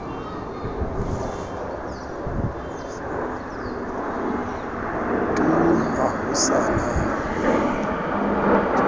tu ha ho sa na